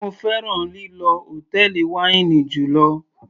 Mo fẹ́ràn lílọ hòtẹ́ẹ̀lì wáínì jùlọ.